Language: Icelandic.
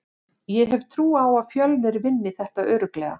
Ég hef trú á að Fjölnir vinni þetta örugglega.